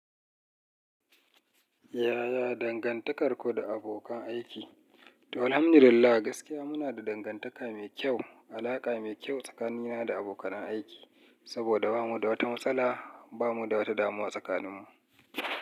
Yaya dangantakarku da abokan aiki? To, alhamdulillah gaskiya muna da dangantaka mai kyau, alaƙa mai kyau tsakanina da abokanan aiki. Saboda bamu da wata matsala, bamu da wata damuwa tsakaninmu.